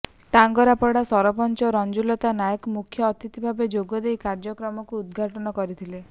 ଟାଙ୍ଗରପଡ଼ା ସରପଞ୍ଚ ରଞ୍ଜୁଲତା ନାଏକ ମୁଖ୍ୟ ଅତିଥିଭାବେ ଯୋଗଦେଇ କାର୍ୟ୍ୟକ୍ରମକୁ ଉଦଘାଟନ କରିଥିଲେ